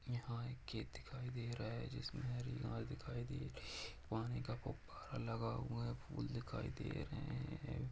यहां कोई खेत दिखाइ दे रही है जिसमें में हरी घास दिखाई दे रहे हैं पानी का गूबारा लगा हुए है फूल दिखाई दे रहे हैं ।